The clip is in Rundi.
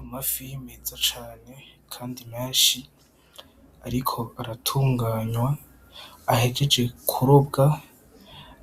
Amafi meza cane kandi menshi ariko aratunganwa ahejeje kurobwa,